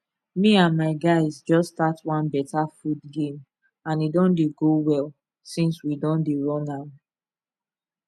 me and my guys just start one better food game and e don dey go well since we don dey run am